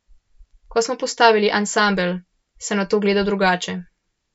Ko smo postavili ansambel, sem na to gledal drugače.